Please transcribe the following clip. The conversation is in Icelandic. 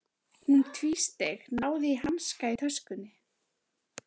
Hún tvísteig, náði í hanska í töskunni.